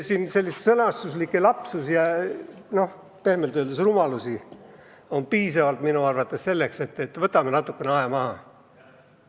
Nii et siin on sõnastuslikke lapsusi ja, noh, pehmelt öeldes rumalusi piisavalt, et tuleks natukeseks aeg maha võtta.